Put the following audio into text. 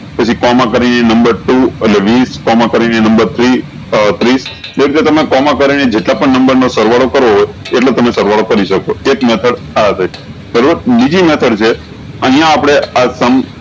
પછી કોમા કરી ને નંબર ટુ અને વીસ કોમા કરી ને નંબર થ્રી આ ત્રીસ દેખ્જો તમે કોમા કરીને જેટલા પણ નંબર નો સરવાળો એટલું તમે સરવાળો કરી શકો એક method આ તહી બીજી method છે અયીયા આપળે આ sum